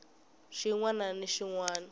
xin wana ni xin wana